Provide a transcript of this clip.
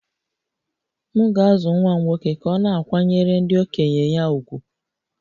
M ga-azụ nwa m nwoke ka ọ na-akwanyere ndị okenye ya ùgwù